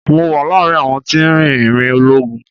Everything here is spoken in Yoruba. Mo wà láàárín àwọn tí ń rìn ìrìn ológun.